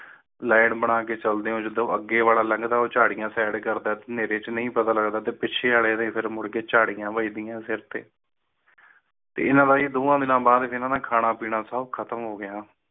line ਬਣਾ ਕੇ ਚਲਦੇ ਉਂਝ ਜਦੋਂ ਅੱਗੇ ਵਾਲਾ ਲੱਗਦਾ ਉਚਾਰੀਆਂ ਸ਼ਾਇਰੀ ਕਰਨ ਦਾ ਏਵੇ ਨਹੀ ਪਤਾ ਲਗਾ ਦਿੱਤੀ ਜਾਵੇ ਫਿਰ ਮੁੜ ਕੇ ਝਾੜੀਆਂ ਬੀਜਦੇ ਇਨ੍ਹਾਂ ਦੋਹਾਂ ਦਿਨਾਂ ਬਾਅਦ ਵੀ ਨਾ ਮੈ ਖਾਣਾ ਪੀਣਾ ਔਖਾ ਕੰਮ